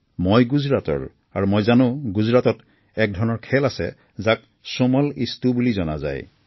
মই গুজৰাটৰ আৰু মই জানো গুজৰাটত একধৰণৰ খেল আছে যাক চোমল ইষ্টো মানেৰে জনা যায়